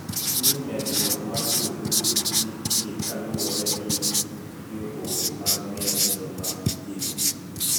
Ni medruok mar jotuo nitie kaluwore gi riwruok mar ng`eny joma ipimo